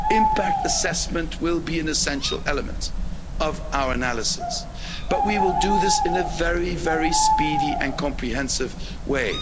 Impact assessment will be an essential element of our analysis, but we will do this in a very, very speedy and comprehensive way.